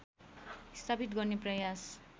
स्थापित गर्ने प्रयास